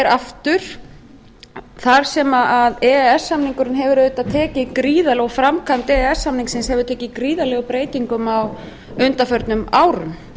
aftur þar sem e e s samningurinn og framkvæmd e e s samningsins hefur tekið gríðarlegum breytingum á undanförnum árum